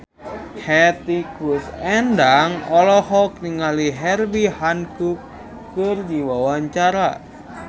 Hetty Koes Endang olohok ningali Herbie Hancock keur diwawancara